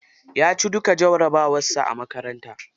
Ya ci duka jarabawar sa a makaranta.